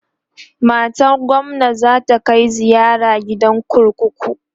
matan gwamna zata Kai ziyara gidan kurkuku